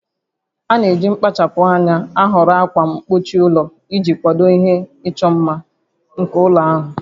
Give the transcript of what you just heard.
A na-eji mkpachapụ anya ahọrọ ákwà mgbochi ụlọ iji kwado ihe ịchọ mma nke ụlọ ahụ